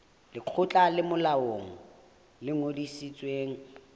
lekgotla le molaong le ngodisitsweng